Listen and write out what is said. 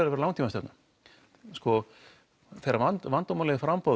að vera langtímastefna sko þegar vandamálið er framboð